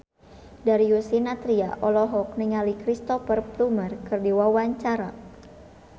Darius Sinathrya olohok ningali Cristhoper Plumer keur diwawancara